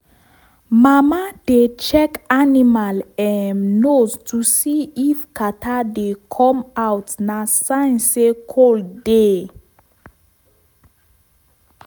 every weekend i dey wash our cow leg with warm water and salt.